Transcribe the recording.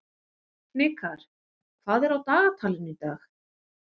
Hnikar, hvað er á dagatalinu í dag?